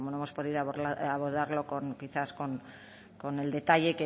pues bueno no hemos podido abordarlo pues quizá con el detalle